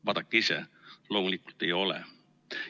Vaadake ise, loomulikult ei ole.